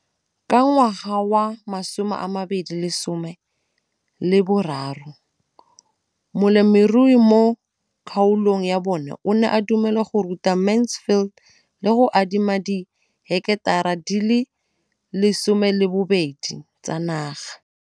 Ka ngwaga wa 2013, molemirui mo kgaolong ya bona o ne a dumela go ruta Mansfield le go mo adima di heketara di le 12 tsa naga.